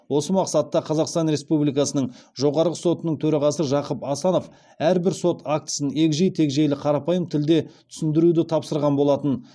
осы мақсатта қазақстан республикасының жоғарғы сотының төрағасы жақып асанов әрбір сот актісін егжей тегжейлі қарапайым тілде түсіндіруді тапсырған болатын